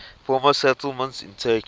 former settlements in turkey